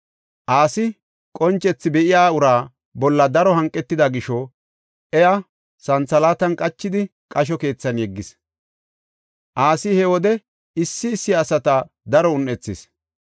Asi qoncethi be7iya ura bolla daro hanqetida gisho iya santhalaatan qachidi qasho keethan yeggis. Asi he wode issi issi asata daro un7ethis.